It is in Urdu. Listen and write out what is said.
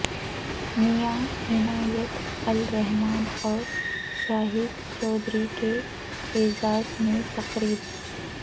میاں عنایت الرحمن اور شاہد چوہدری کے اعزاز میں تقریب